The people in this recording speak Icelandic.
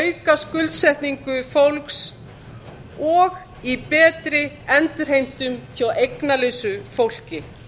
auka skuldsetningu fólks og í betri endurheimtur hjá eignalausu fólki